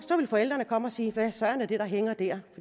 vil forældrene komme og sige hvad søren er det der hænger der